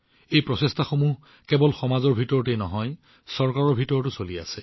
এই প্ৰচেষ্টাবোৰ কেৱল সমাজৰ ভিতৰতেই নহয় চৰকাৰৰ ফালৰ পৰাও কৰা হৈছে